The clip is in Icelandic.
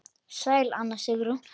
Sæl Anna Sigrún.